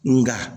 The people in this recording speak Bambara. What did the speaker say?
Nga